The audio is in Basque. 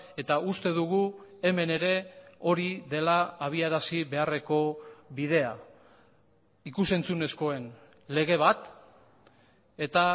eta uste dugu hemen ere hori dela abiarazi beharreko bidea ikus entzunezkoen lege bat eta